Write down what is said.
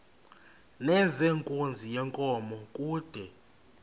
nezenkunzi yenkomo kude